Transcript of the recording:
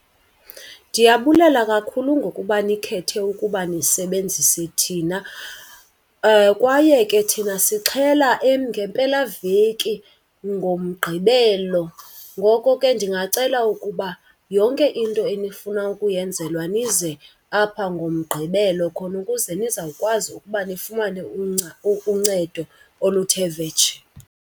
Ndiyabulela kakhulu ngokuba nikhethe ukuba nisebenzise thina. Kwaye ke thina sixhela ngempelaveki, ngoMgqibelo. Ngoko ke ndingacela ukuba yonke into enifuna ukuyenzelwa nize apha ngoMgqibelo khona ukuze nizawukwazi ukuba nifumane uncedo oluthe vetshe.